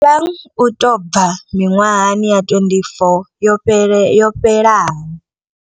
Thabang u tou bva miṅwahani ya 24 yo fhelaho.